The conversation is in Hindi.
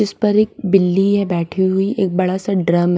इस पर एक बिल्ली है बैठी हुई एक बड़ा सा ड्रम --